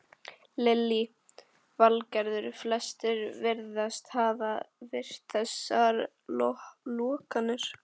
Lillý Valgerður: Flestir virðast hafa virt þessar lokanir?